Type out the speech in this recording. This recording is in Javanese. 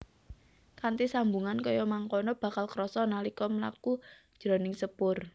Kanthi sambungan kaya mangkono bakal krasa nalika mlaku jroning sepur